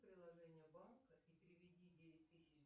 приложение банка и переведи девять тысяч